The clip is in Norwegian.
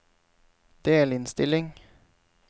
delinnstilling